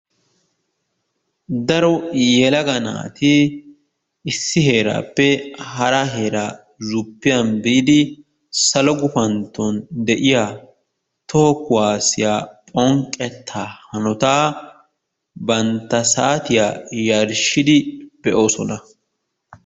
Daro yelaga naati issi heeraappe hara zuppiyan biidi salo gupantton de'iya toho kuwaasiya phonqqettaa hanotaa bantta saatiya yarshshidi be'oosona.